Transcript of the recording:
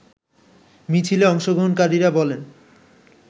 মিছিলে অংশগ্রহণকারীরা বলেন